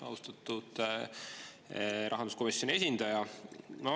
Austatud rahanduskomisjoni esindaja!